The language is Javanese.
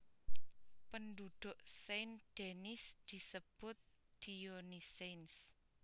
Penduduk Saint Denis dipunsebut Dionysiens